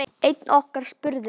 Einn okkar spurði